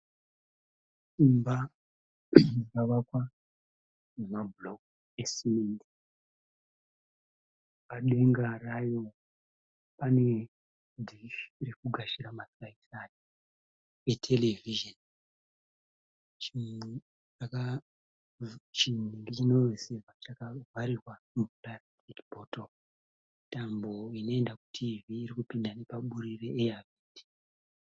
Imba yakavakwa nemabhuroku esimende padenga rayo pane dhishi riri kugashira masaisai eterevhizheni chinotambira chakavharirwa mukati mechibhotoro tambo inopinda kuterevhizheni iri kupinda nepaburi re eyavhendi.